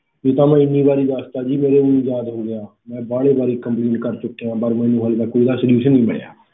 ਇਹ ਤਾਂ ਮੈਂ ਹਨੀ ਵਾਰੀ ਦਸਤਾ ਜੀ ਮੇਰੇ ਊ ਯਾਦ ਹੋ ਚੁਕਿਆ ਮੈਂ ਬਾਹਲੀ ਵਾਰੀ complaint ਕਰ ਚੱਕੇਯਾ ਪਾਰ ਮੈਨੂੰ ਹਜੇ ਤੱਕ ਇਹਦਾ solution ਨਹੀਂ ਮਿਲਿਆ